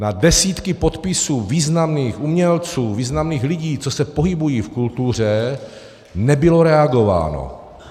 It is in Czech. Na desítky podpisů významných umělců, významných lidí, co se pohybují v kultuře, nebylo reagováno.